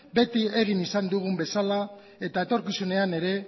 beti egin izan dugun bezala eta etorkizunean ere